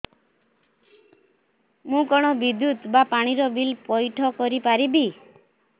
ମୁ କଣ ବିଦ୍ୟୁତ ବା ପାଣି ର ବିଲ ପଇଠ କରି ପାରିବି